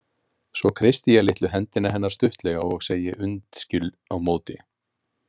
Svo kreisti ég litlu hendina hennar stuttlega og segi undskyld á móti.